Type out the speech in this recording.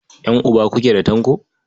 Ƴan'uba kuke da Tanko?